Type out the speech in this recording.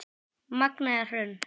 Magnea Hrönn.